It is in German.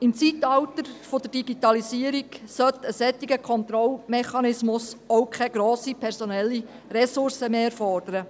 Im Zeitalter der Digitalisierung sollte ein solcher Kontrollmechanismus auch keine grossen personellen Ressourcen mehr erfordern.